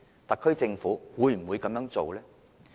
特區政府會否這樣做？